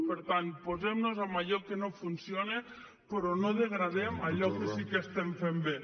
per tant posem nos en allò que no funciona però no degradem allò que sí que estem fent bé